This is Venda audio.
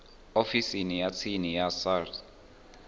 ofisini ya tsini ya sars